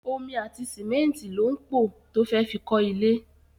Omi àti sìmẹ́nìtì ló ń pọ to fẹ́ fi kọ ilé.